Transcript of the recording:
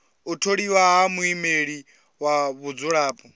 u tholiwa ha muimeleli wa vhadzulapo